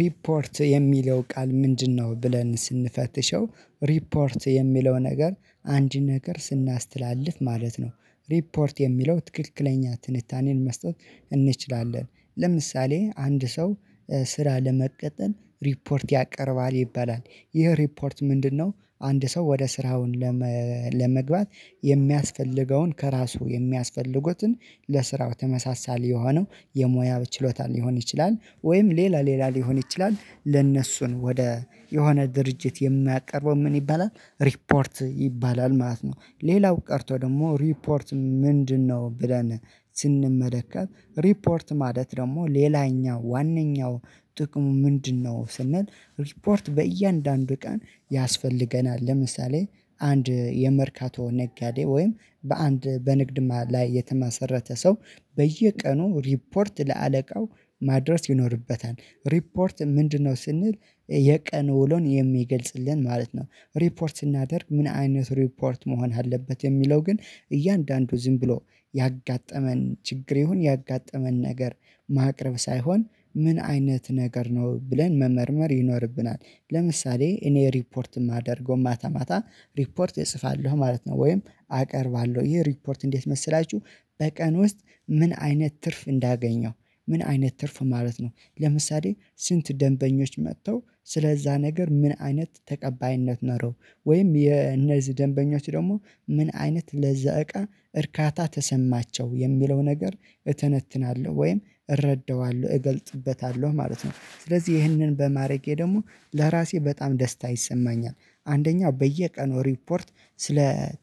ሪፖርት የሚለው ቃል ምንድነው? ብለን ስንፈትሸው ሪፖርት የሚለው ነገር አንድ ነገር ስናስተላልፍ ማለት ነው። ሪፖርት የሚለው ትክክለኛ ትንታኔን መስጠት እንችላለን። ለምሳሌ አንድ ሰው ስራ ለመቀጠር ሪፖርት ያቀርባል ይባላል ይሄ ሪፖርት ምንድነው? አንድ ሰው ወደ ስራውን ለመግባት የሚያስፈልገውን ከእራሱ የሚያስፈልጉትን ለስራው ተመሳሳይ የሆነው የሙያው ችሎታ ሊሆን ይችላል ወይም ሌላ ሌላ ሊሆን ይችላል ለእነሱን ወደ የሆነ ድርጅት የሚያቀርበው ምን ይባላል ሪፖርት ይባላል ማለት ነው። ሌላው ቀርቶ ደግሞ ሪፖርት ምንድነው? ብለን ስንመለከት ሪፖርት ማለት ደሞ ሌላኛው ዋነኛው ጥቅሙ ምንድነው ስንል። ሪፖርት በእያንዳንዱ ቀን ያስፈልገናል። ለምሳሌ አንድ የመርካቶ ነጋዴ ወይም በአንድ በንግድ ላይ የተማሰረተ ሰው በየቀኑ ሪፖርት ለአለቃው ማድረስ ይኖርበታል። ሪፖርት ምንድነው? ስንል የቀኑ ውሎን የሚገልጽልን ማለት ነው። ሪፖርት ስናደርግ ምን አይነት ሪፖርት መሆን አለበት። የሚለው ግን እያንዳንዱ ዝም ብሎ ያጋጠመን ችግር ይሁን ያጋጠመን ነገር ማቅረብ ሳይሆን ምን አይነት ነገር ነው ብለን መመርመር ይኖርብናል። ለምሳሌ እኔ ሪፖርት እማደርገው ማታ ማታ ሪፖርት እጽፋለሁ ማለት ነው። ወይም አቀርባለሁ ይሄ ሪፖርት እንዴት መሰላችሁ? በቀን ውስጥ ምን አይነት ትርፍ እንዳገኘው ምን አይነት ትርፍ ማለት ነው። ለምሳሌ ስንት ደንበኞች መጥተው ስለዛ ነገር ምን አይነት ተቀባይነት ኖረው ወይም እነዚህ ደንበኞች ደሞ ምን አይነት ለዛ እቃ እርካታ ተሰማቸው የሚለው ነገር እተነትናለሁ ወይም እረዳዋለሁ እገልጥበታለሁ ማለት ነው። ስለዚህ ይህንን በማድረጌ ደግሞ ለራሴ በጣም ደስታ ይሰማኛል። አንደኛው በየቀኑ ሪፖርት ስለ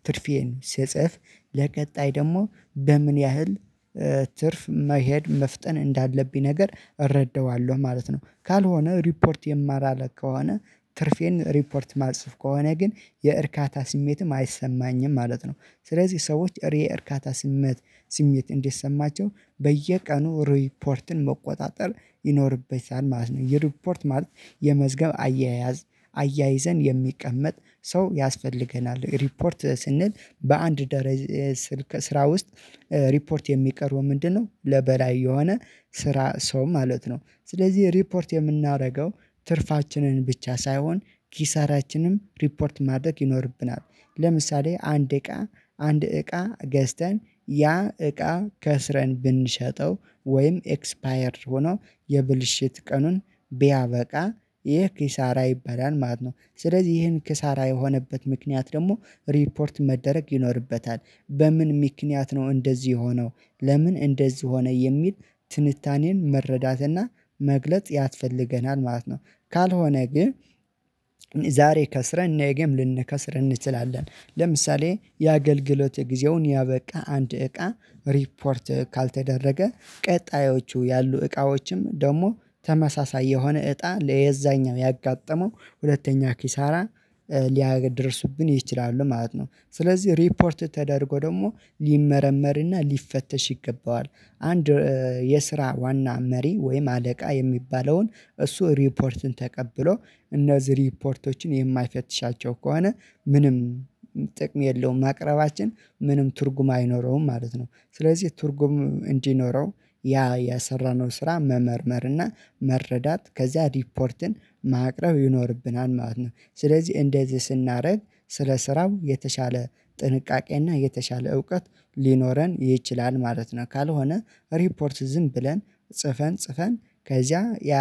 ትርፌን ስጽፍ ለቀጣይ ደሞ በምን ያህል ትርፍ መሄድ መፍጠን እንዳለብኝ ነገር እረዳዋለሁ ማለት ነው። ካልሆነ ሪፖርት የማላረግ ከሆነ ትርፌን ሪፖርት እማልጽፍ ከሆነ ግን የእርካታ ስሜትም አይሰማኝም ማለት ነው። ስለዚህ ሰዎች የእርካታ ስሜት ስሜት እንዲሰማቸው በየቀኑ ሪፖርትን መቆጣጠር ይኖርበታል ማለት ነው። የሪፖርት ማለት የመዝገብ አያያዝ አያይዘን የሚቀመጥ ሰው ያስፈልገናል። ሪፖርት ስንል በአንድ ስራ ውስጥ ሪፖርት የሚቀርበው ምንድነው? ለበላይ የሆነ ሰው ማለት ነው። ስለዚህ ሪፖርት የምናደርገው ትርፋችንን ብቻ ሳይሆን ኪሳራችንም ሪፖርት ማድረግ ይኖርብናል። ለምሳሌ አንድ እቃ አንድ እቃ ገዝተን ያ እቃ ከስረን ብንሸጠው ወይም ኤክስፓየርድ ሆኖ የብልሽት ቀኑን ቢያበቃ ይህ ኪሳራ ይበላል ማለት ነው። ስለዚህ ይህን ኪሳራ የሆነበት ምክንያት ደግሞ ሪፖርት መደረግ ይኖርበታል። በምን ምክንያት ነው? እንደዚህ የሆነው ለምን እንደዚህ ሆነ የሚል ትንታኔን መረዳትና መግለጽ ያስፈልገናል ማለት ነው። ካልሆነ ግን ዛሬ ከስረን ነገም ልንከስር እንችላለን ለምሳሌ የአገልግሎት ጊዜውን ያበቃ አንድ እቃ ሪፖርት ካልተደረገ ቀጣዮቹ ያሉ እቃዎችም ደሞ ተመሳሳይ የሆነ እጣ ለዛኛው ያጋጠመው ሁለተኛ ኪሳራ ሊያገደርሱብን ይችላሉ ማለት ነው። ስለዚህ ሪፖርት ተደርጎ ደሞ ሊመረመርና ሊፈተሽ ይገባዋል። አንድ የስራ ዋና መሪ ወይም አለቃ የሚባለውን እሱ ሪፖርትን ተቀብሎ እነዚህ ሪፖርቶችን የማይፈትሻቸው ከሆነ ምንም ጥቅም የለውም ማቅረባችን ምንም ትርጉም አይኖረውም ማለት ነው። ስለዚህ ትርጉም እንዲኖረው ያ የሰራነው ስራ መመርመር እና መረዳት ከዚያ ሪፖርትን ማቅረብ ይኖርብናል ማለት ነው። ስለዚህ እንደዚህ ስናረግ ስለ ስራው የተሻለ ጥንቃቄና የተሻለ እውቀት ሊኖረን ይችላል ማለት ነው። ካልሆነ ሪፖርት ዝም ብለን ጽፈን ጽፈን ከዚያ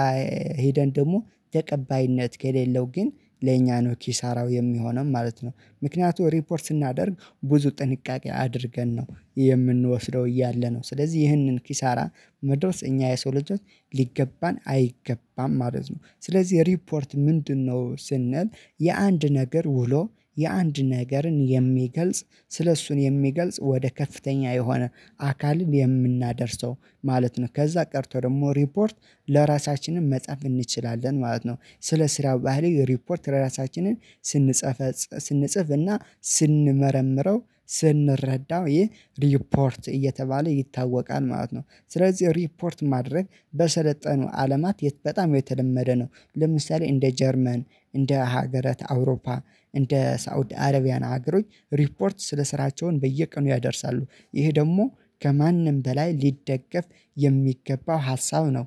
ሄደን ደሞ ተቀባይነት ከሌለው ግን ለእኛ ነው ኪሳራው የሚሆነው ማለት ነው። ምክንያቱም ሪፖርት ስናደርግ ብዙ ጥንቃቄ አድርገን ነው የምንወስደው እያለ ነው። ስለዚህ ይህንን ኪሳራ መድረስ እኛ የሰው ልጆች ሊገባን አይገባም ማለት ነው። ስለዚህ ሪፖርት ምንድነው? ስንል የአንድ ነገር ውሎ የአንድ ነገርን የሚገልጽ ስለእሱ የሚገልጽ ወደ ከፍተኛ የሆነ አካል የምናደርሰው ማለት ነው። ከዛ ቀርቶ ደሞ ሪፖርት ለራሳችንም መጻፍ እንችላለን ማለት ነው። ስለ ስራው ባህሪ ሪፖርት ለራሳችን ስንጽፍ ስንጽፍ እና ስንመረምረው ስንረዳው ይህ ሪፖርት እየተባለ ይታወቃል ማለት ነው። ስለዚህ ሪፖርት ማድረግ በሰለጠኑ አለማት በጣም የተለመደ ነው። ለምሳሌ እንደ ጀርመን እንደ ሀገራት አውሮፓ እንደ ሳውዲ አረቢያን ሀገሮች ሪፖርት ስለ ስራቸው በየቀኑ ያደርሳሉ ይሄ ደግሞ ከማንም በላይ ሊደገፍ የሚገባው ሀሳብ ነው።